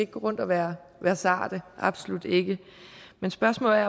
gå rundt og være være sarte absolut ikke men spørgsmålet